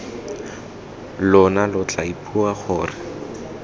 lona lo tla ipua gore